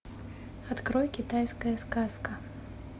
открой китайская сказка